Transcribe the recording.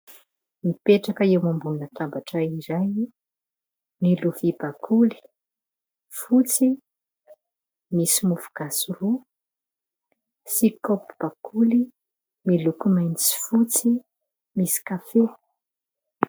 Mipetraka eo ambonina latabatra iray : ny lovia bakoly fotsy, misy mofo gasy roa sy kaopy bakoly miloko mainty misy fotsy, misy kafe,.